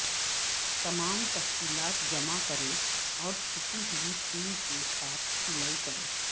تمام تفصیلات جمع کریں اور چھپی ہوئی سیل کے ساتھ سلائی کریں